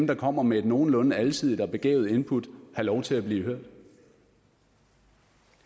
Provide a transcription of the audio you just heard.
der kommer med et nogenlunde alsidigt og begavet input have lov til at blive